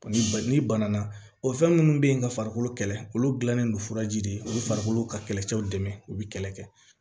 Ni ba ni bana o fɛn minnu bɛ yen ka farikolo kɛlɛ olu dilannen don furaji de olu farikolo ka kɛlɛcɛw dɛmɛ u bɛ kɛlɛ kɛ